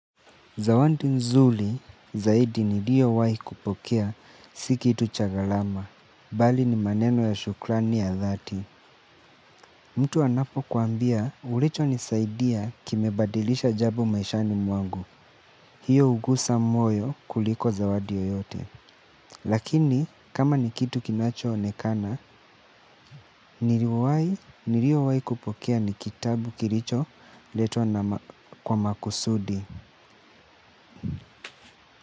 Zawandi nzuli zaidi niliyowahi kupokea sikitu cha galama, bali ni maneno ya shukrani ya dhati. Mtu anapo kuambia ulicho nisaidia kimebadilisha jabo maishani mwangu. Hiyo ugusa moyo kuliko zawadi yoyote. Lakini kama ni kitu kinacho onekana, niliyo wahi niliyo wahi kupokea nikitabu kiricho letwa na kwa makusudi.